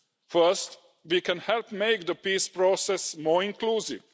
First, we can help make the peace process more inclusive.